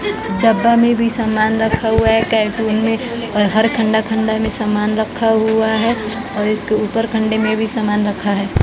डब्बा में भी सामान रखा हुआ है कैटुन में और हर खंडा खंडा में सामान रखा हुआ है और इसके ऊपर खंडे में भी सामान रखा है।